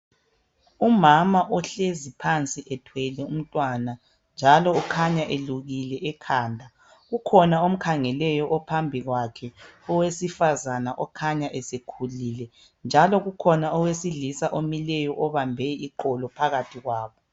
Umama ohlezi phansi ethwele umtwana njalo ukhanya elukile ekhanda kukhona omkhangeleyo ophambi kwakhe owesifazana okhanya esekhulile njalo kukhona owesilisa omileyo obambe iqolo phakathi kwabo